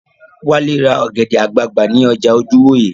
Wálé ra ọ̀gẹ̀dẹ̀ àgbagbà ní ọjà Ojúwòyè